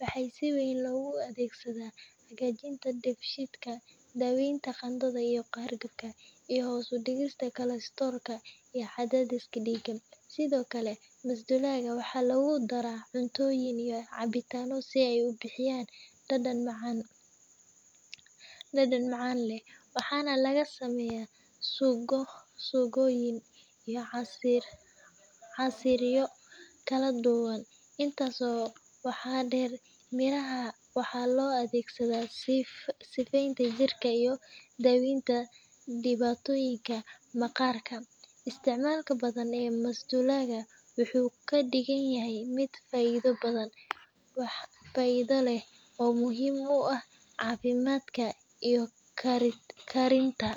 Waxaa si weyn loogu adeegsadaa hagaajinta dheefshiidka, daaweynta qandhada iyo hargabka, iyo hoos u dhigista kolestaroolka iyo cadaadiska dhiigga. Sidoo kale, masdulaagga waxaa lagu daraa cuntooyin iyo cabitaano si uu u bixiyo dhadhan macaan-dhanaan leh, waxaana laga sameeyaa suugooyin iyo casiiryo kala duwan. Intaas waxaa dheer, mirahan waxaa loo adeegsadaa sifeeynta jirka iyo daaweynta dhibaatooyinka maqaarka. Isticmaalka badan ee masdulaagga wuxuu ka dhigayaa mid faa’iido badan leh oo muhiim u ah caafimaadka iyo karinta.